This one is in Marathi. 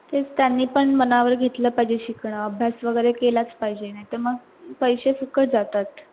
तेच त्यांनी पण मना वर घेतल पाहिजे शिकणं अभ्यास वगैरे केलाच पाहिजे नाही ते मंग पैशे फुकट जातात.